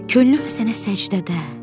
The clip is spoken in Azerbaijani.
Könlüm sənə səcdədə.